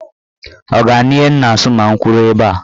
Ọ ga-anụ ihe m na-asụ ma m kwụrụ ebe a?